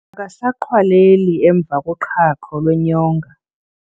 Akasaqhwaleli emva koqhaqho lwenyonga.